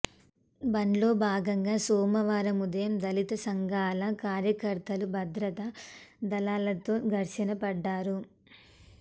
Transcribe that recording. బంద్లో భాగంగా సోమవారం ఉదయం దళిత సంఘాల కార్యకర్తలు భద్రతా దళాలతో ఘర్షణ పడ్డారు